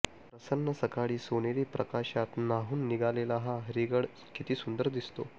प्रसन्न सकाळी सोनेरी प्रकाशात न्हाऊन निघालेला हा हरिहरगड किती सुंदर दिसतो